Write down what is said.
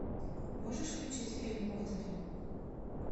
можешь включить фильм отмель